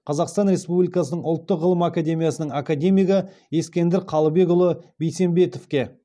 қазақстан республикасының ұлттық ғылым академиясының академигі ескендір қалыбекұлы бейсембетовке